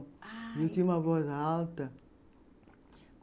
Ah... Eu tinha uma voz alta.